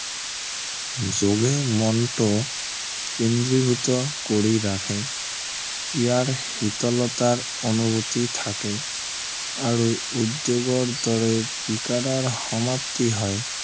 যোগে মনটো কেন্দ্ৰীভূত কৰি ৰাখে ইয়াৰ শীতলতাৰ অনুভূতি থাকে আৰু উদ্য়োগৰ দৰে সমাপ্তি হয়